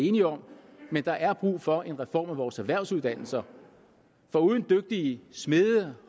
enige om men der er brug for en reform af vores erhvervsuddannelser for uden dygtige smede